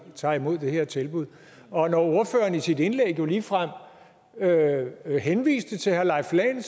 tager imod det her tilbud og når ordføreren i sit indlæg jo ligefrem henviste til herre leif lahn